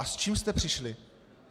A s čím jste přišli?